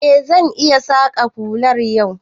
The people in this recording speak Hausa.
E, zan iya saƙan hular yau.